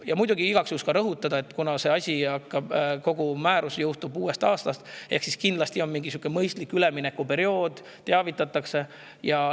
Ja muidugi, igaks juhuks ka rõhutan, et kuna see asi, kogu määrus jõustub uuest aastast, siis on kindlasti mingisugune mõistlik üleminekuperiood, sellest teavitatakse.